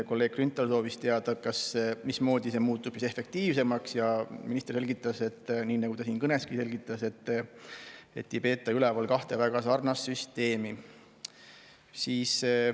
Kolleeg Grünthal soovis teada, mismoodi muutub efektiivsemaks, ja minister selgitas, nii nagu ta siin kõneski selgitas, et siis ei peeta enam üleval kahte väga sarnast süsteemi.